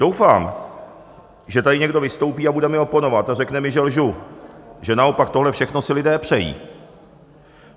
Doufám, že tady někdo vystoupí a bude mi oponovat a řekne mi, že lžu, že naopak tohle všechno si lidé přejí.